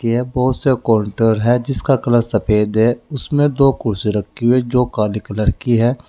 यह बहोत सा काउंटर है जिसका कलर सफेद है उसमें दो कुर्सी रखी है जो काली कलर की है।